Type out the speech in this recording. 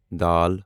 the